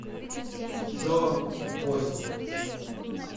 джо бостик